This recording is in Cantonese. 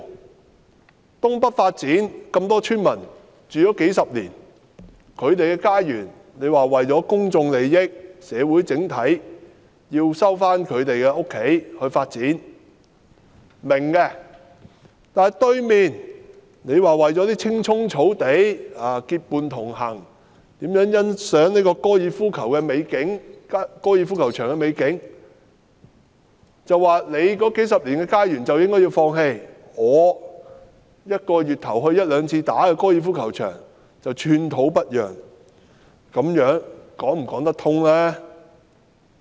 為推行東北發展計劃，多個村民住了數十年的家園，政府說為了公眾利益和社會整體利益而要收回來進行發展，我們是明白的；但在對面的高爾夫球場，你卻說為了在青蔥草地上結伴同遊，欣賞高爾夫球場的美景，市民數十年的家園你卻說應該放棄，而你一個月前往一兩次的高爾夫球場則寸土不讓，這樣說得過去嗎？